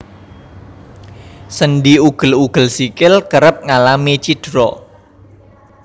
Sendhi ugel ugel sikil kerep ngalami cidra